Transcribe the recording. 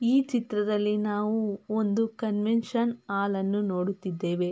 ಈ ಚಿತ್ರದಲ್ಲಿ ನಾವು ಒಂದು ಕನ್ವೆನ್ಷನ್ ಹಾಲ್ ಅನ್ನು ನೋಡುತ್ತಿದ್ದೇವೆ.